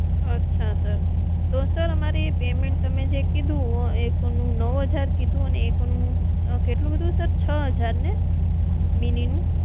અચ્છા sir તો અમારી payment નું તમે કીધું એક નું નવ હજાર કીધું ને એક નું કેટલું કીધું છો હજાર ને?